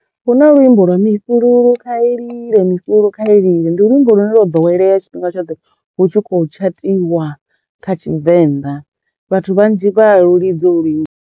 Hu na luimbo lwa, mifhulu kha yi lile, mifhulu kha yi lile, ndi luimbo lune lwo ḓowelea tshifhinga tshoṱhe hu tshi khou tshatiwa kha Tshivenḓa vhathu vhanzhi vha a lu lidza ho lu luimbo.